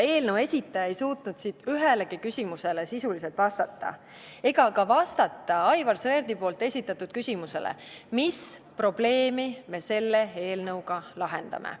Eelnõu esitaja ei suutnud ühelegi küsimusele sisuliselt vastata ega vastata ka Aivar Sõerdi esitatud küsimusele, mis probleemi me selle eelnõuga lahendame.